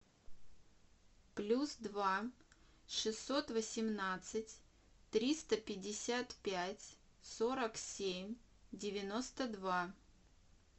плюс два шестьсот восемнадцать триста пятьдесят пять сорок семь девяносто два